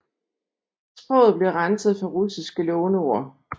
Sproget blev renset for russiske låneord